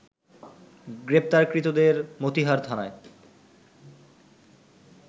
গ্রেপ্তারকৃতদের মতিহার থানায়